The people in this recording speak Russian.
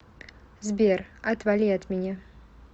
сбер отвали от меня